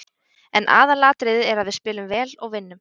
En aðalatriðið er að við spilum vel og vinnum.